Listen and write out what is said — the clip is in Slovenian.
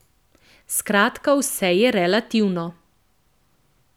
Skratka vse je relativno.